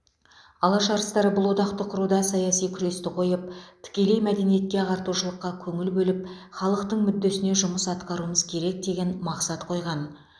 алаш арыстары бұл одақты құруда саяси күресті қойып тікелей мәдениетке ағартушылыққа көңіл бөліп халықтың мүддесіне жұмыс атқаруымыз керек деген мақсат қойған